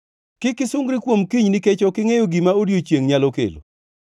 Kik isungri kuom kiny, nikech ok ingʼeyo gima odiechiengʼ nyalo kelo.